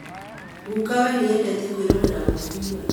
Gukawe nĩendete kwĩrorera mũbira